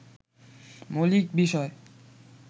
মৌলিক বিষয়